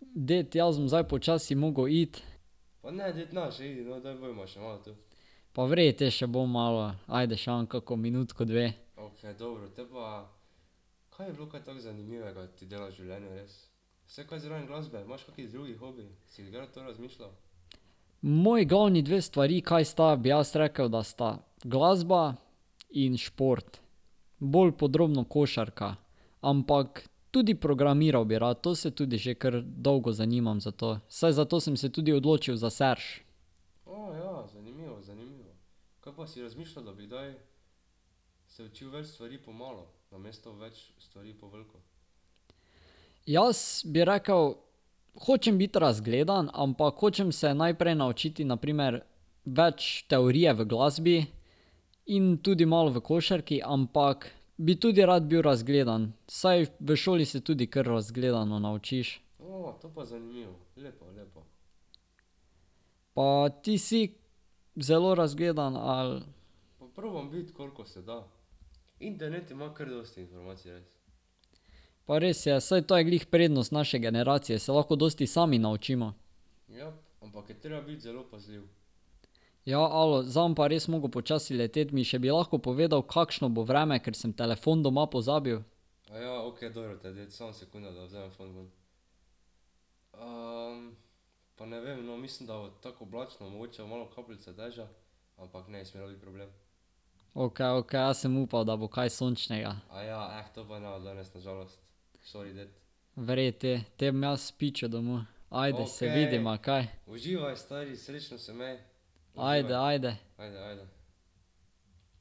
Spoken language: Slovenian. Ded, jaz bom zdaj počasi moral iti. Pa v redu, potem še bom malo. Ajde še imam kako minutko, dve. Moji glavni dve stvari, kaj sta, bi jaz rekel, da sta glasba in šport. Bolj podrobno košarka. Ampak tudi programiral bi rad, to se tudi že kar dolgo zanimam za to. Saj zato sem se tudi odločil za Serš. Jaz bi rekel: hočem biti razgledan, ampak hočem se najprej naučiti na primer več teorije v glasbi in tudi malo v košarki, ampak bi tudi rad bil razgledan. Saj v šoli se tudi kar razgledano naučiš. Pa ti si zelo razgledan, ali? Pa res je, saj to je glih prednost naše generacije. Se lahko dosti sami naučimo. Ja, alo. Za bom pa res moral počasi leteti. Mi še bi lahko povedal, kakšno bo vreme, ker sem telefon doma pozabil? Okej, okej. Jaz sem upal, da bo kaj sončnega. V redu potem, te bom jaz pičil domov. Ajde, se vidiva kaj. Ajde, ajde.